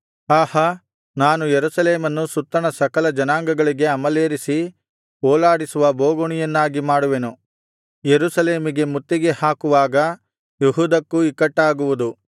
ಆಹಾ ನಾನು ಯೆರೂಸಲೇಮನ್ನು ಸುತ್ತಣ ಸಕಲ ಜನಾಂಗಗಳಿಗೆ ಅಮಲೇರಿಸಿ ಓಲಾಡಿಸುವ ಬೋಗುಣಿಯನ್ನಾಗಿ ಮಾಡುವೆನು ಯೆರೂಸಲೇಮಿಗೆ ಮುತ್ತಿಗೆಹಾಕುವಾಗ ಯೆಹೂದಕ್ಕೂ ಇಕ್ಕಟ್ಟಾಗುವುದು